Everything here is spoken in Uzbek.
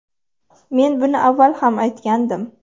Men buni avval ham aytgandim.